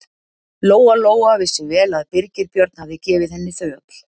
Lóa-Lóa vissi vel að Birgir Björn hafði gefið henni þau öll.